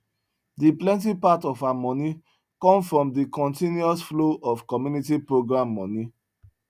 de plenti part of her moni com from de continus flow of commuinty program moni